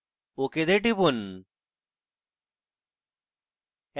ok তে টিপুন